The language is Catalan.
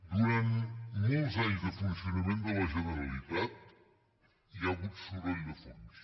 durant molts anys de funcionament de la generalitat hi ha hagut soroll de fons